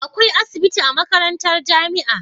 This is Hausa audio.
Akwai asibitin a makarantar jamia